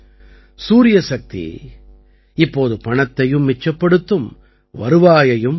சூரியசக்தி இப்போது பணத்தையும் மிச்சப்படுத்தும் வருவாயையும் பெருக்கும்